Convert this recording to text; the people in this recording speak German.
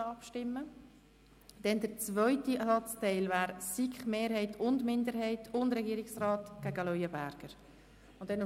Für den zweiten Satzteil stimmen wir über den Antrag der SiKMehrheit und der SiK-Minderheit und des Regierungsrats gegen den Antrag der BDP ab.